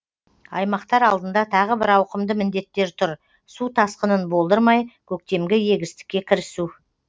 аймақтар алдында тағы бір ауқымды міндеттер тұр су тасқынын болдырмай көктемгі егістікке кірісу